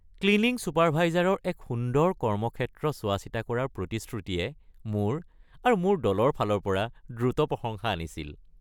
Cleaning চুপাৰভাইজাৰৰ এক সুন্দৰ কৰ্মক্ষেত্ৰ চোৱাচিতা কৰাৰ প্ৰতিশ্ৰুতিয়ে মোৰ আৰু মোৰ দলৰ ফালৰ পৰা দ্ৰুত প্ৰশংসা আনিছিল।